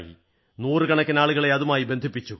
നൂറുക്കണക്കിന് ആളുകളെ അതുമായി ബന്ധിപ്പിച്ചു